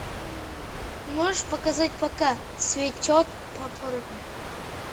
можешь показать пока цветет папоротник